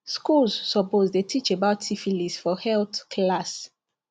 schools suppose dey teach about syphilis for health class